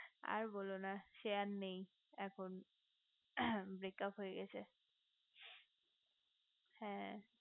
আর বোলো না সে আর নেই এখন break up হয়ে গেছে হ্যা